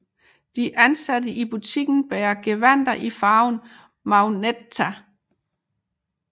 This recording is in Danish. De ansatte i butikken bærer gevandter i farven magenta